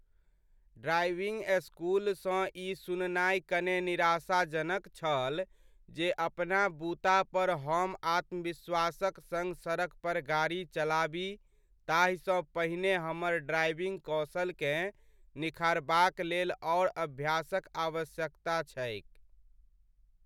Driving स्कूलसँ ई सुननाइ कने निराशाजनक छल जे अपना बूता पर हम आत्मविश्वासक सङ्ग सड़क पर गाड़ी चलाबी ताहिसँ पहिने हमर ड्राइविंग कौशलकेँ निखारबाक लेल आओर अभ्यासक आवश्यकता छैक।